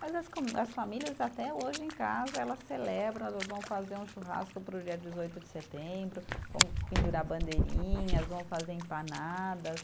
Mas as, as famílias até hoje em casa, elas celebram, elas vão fazer um churrasco para o dia dezoito de setembro, vão pendurar bandeirinhas, vão fazer empanadas.